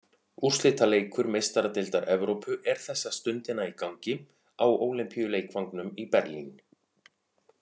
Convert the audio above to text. Úrslitaleikur Meistaradeildar Evrópu er þessa stundina í gangi á Ólympíuleikvangnum í Berlín.